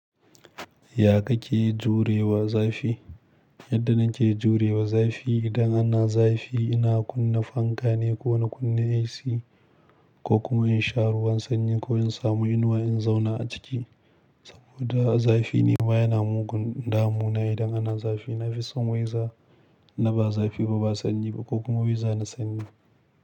Ya ka ke jurewa zafi? Yadda na ke jurewa zafi idan ana zafi ina kunna fanka ne ko na kunna AC ko kuma in sha ruwan sanyi ko in samu inuwa in zauna a ciki. Saboda zafi ne ba yana mugun damu na idan ana zafi. Na fi son waiza na ba zafi ba, ba sanyi ba ko kuma waiza na sanyi.